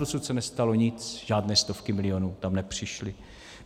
Dosud se nestalo nic, žádné stovky milionů tam nepřišly.